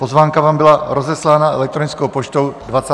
Pozvánka vám byla rozeslána elektronickou poštou 29. září.